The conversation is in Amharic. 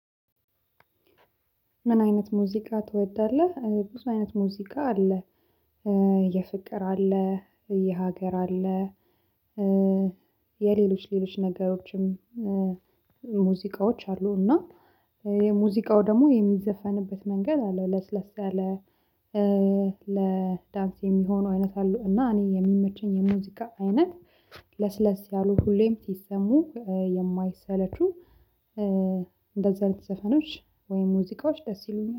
ምን አይነት ሙዚቃ ትወዳለህ? ብዙ አይነት ሙዚቃ አለ። የፍቅር አለ የሀገር አለ። የሌሎች ሌሎች ነገሮችም ሙዚቃዎች አሉ። እና የሙዚቃው ደግሞ የሚዘፈንበት መንገድ አለው ለስለስ ያለ ለዳንስ የሚሆኑ አይነት አሉ። እና እኔ የሚመቸኝ የሙዚቃ አይነት ለስለስ ያሉ ሁሌም ሲሰሙ የማይሰለቹ። እንደዛ አይነት ዘፈኖች ወይም ሙዚቃዎች ደስ ይሉኛል